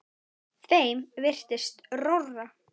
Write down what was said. Þeim virtist rórra.